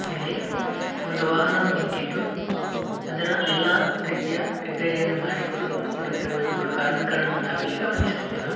ಇಲ್ಲಿ ಒಂದು ವಾಹನವು ನಿಂತಿದ್ದು ಅದರ ಎಲ್ಲಾ ರೀತಿಯ ರಿಪೇರಿಯನ್ನು ಮಾಡಿಕೊಡು_ಕೊಡುತ್ತಿರುವ ಇಬ್ಬರು ಕಾರ್ಮಿಕರನ್ನು ನಾವ್ ಇಲ್ಲಿ ಗಮನಿಸಬಹುದು .